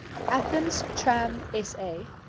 athens tram sa